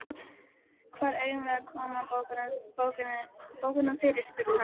Hvar eigum við að koma bókunum fyrir? spurði hann.